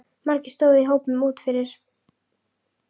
Margir stóðu í hópum úti fyrir.